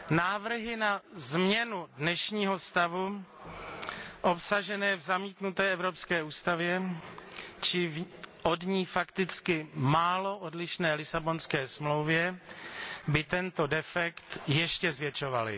Návrhy na změnu dnešního stavu obsažené v zamítnuté Evropské ústavě či v od ní fakticky málo odlišné Lisabonské smlouvě by tento defekt ještě zvětšovaly.